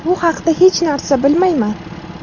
Bu haqda hech narsa bilmayman.